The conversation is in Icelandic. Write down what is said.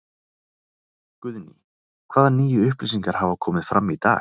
Guðný: Hvaða nýju upplýsingar hafa komið fram í dag?